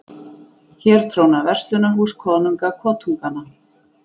Hér tróna verslunarhús konunga kotunganna